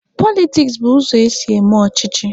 Politiks bụ ụzọ esi eme ọchịchị.